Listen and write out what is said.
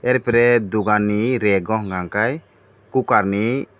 are pore dogan ni rego hingka kei cooker ni.